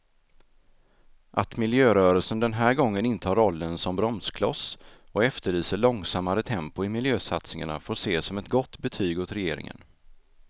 Att miljörörelsen den här gången intar rollen som bromskloss och efterlyser långsammare tempo i miljösatsningarna får ses som ett gott betyg åt regeringen.